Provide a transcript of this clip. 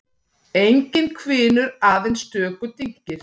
Enginn hvinur, aðeins stöku dynkir.